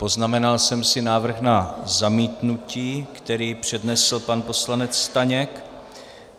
Poznamenal jsem si návrh na zamítnutí, který přednesl pan poslanec Staněk.